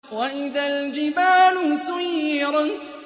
وَإِذَا الْجِبَالُ سُيِّرَتْ